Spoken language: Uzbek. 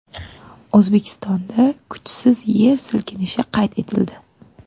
O‘zbekistonda kuchsiz yer silkinishi qayd etildi .